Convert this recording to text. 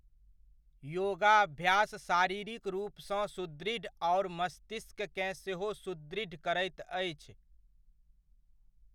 योगाभ्यास शारीरिक रुपसॅं सुदृढ़ आओर मष्तिस्ककेँ सेहो सुदृढ़ करैत अछि।